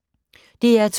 DR2